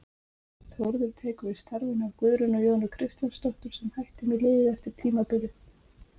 Þórður tekur við starfinu af Guðrúnu Jónu Kristjánsdóttur sem hætti með liðið eftir tímabilið.